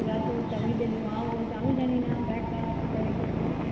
রাত্রে মাও বলছে আমি জানি না দাগ কার